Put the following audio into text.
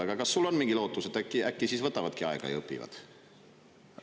Aga kas sul on mingi lootus, et äkki nad võtavad aega ja õpivad?